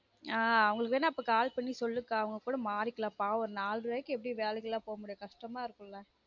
ஆஹ் அவங்களுக்கு வேனா call பண்ணி சொல்லுக்கா அவங்க கூட மாரிக்கலாம் பாவம் நாலு ரூபாய்க்கு எப்டி வேலைக்குலான் போவ முடியும் கஷ்டமா இருக்கும்ல